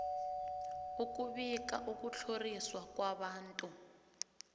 ukubika ukutlhoriswa kwabantu